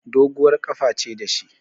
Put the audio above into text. Doguwar ƙafa ce da shi